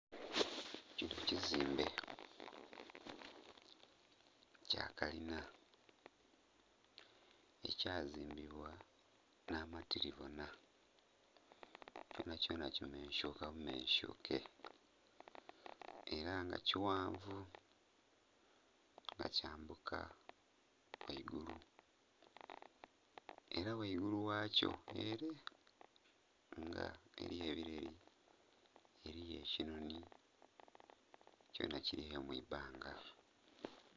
Kinho ekizimbe kya kalinha ekya zimbibwa nha matilibonha, kubonha kubonha ki mensuka bu mensuke era nga ekighanvu nga kyambuka ghaigulu era ghaigulu ghakyo eree nga eriyo ebileeli, eriyo ekinhoni kyonha kiliyo mwi bbanga.